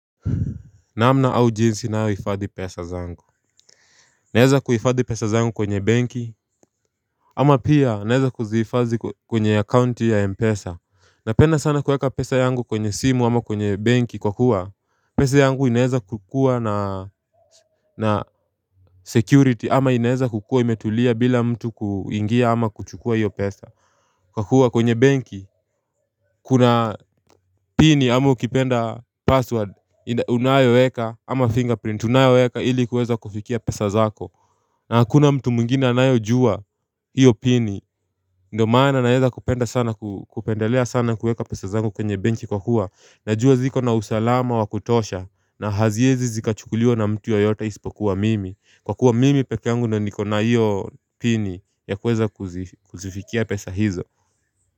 Namna au jinsi ninayohifadhi pesa zangu Naweza kuhifadhi pesa zangu kwenye benki ama pia naweza kuzihifadhi kwenye akaunti ya Mpesa Napenda sana kuweka pesa yangu kwenye simu ama kwenye benki kwa kuwa pesa yangu inaweza kukua na security ama inaweza kukua imetulia bila mtu kuingia ama kuchukua hiyo pesa Kwa kuwa kwenye banki Kuna pini ama ukipenda password unayoweka ama fingerprint unayoweka ili kuweza kufikia pesa zako na hakuna mtu mwingine anayojua hiyo pini Ndio maana naweza kupenda sana kupendelea sana kuweka pesa zangu kwenye benki kwa kuwa najua ziko na usalama wa kutosha na haziwezi zikachukuliwa na mtu yeyote isipokuwa mimi kwa kuwa mimi peke angu na nikona hiyo pini ya kuweza kuzifikia pesa hizo.